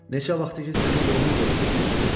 Neçə vaxtdır ki, sənin yolunu gözləyirəm.